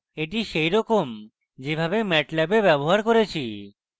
এটি সেরকম যেমন ম্যাটল্যাবে ব্যবহার করেছি